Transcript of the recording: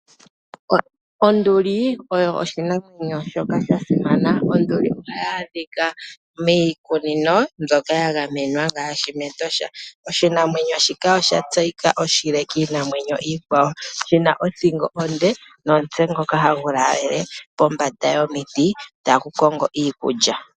Onduli oyo oshinamwenyo shoka sha simana. Onduli ohayi adhika miikunino mbyoka ya gamenwa ngaashi mEtosha. Oshinamwenyo shika osha tseyika oshile kiinamwenyo iikwawo, shi na othingo onde nomutse ngoka hagu laalele pombanda yomiti tagu kongo iikulya.